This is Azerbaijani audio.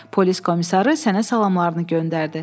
Polis komissarı sənə salamlarını göndərdi.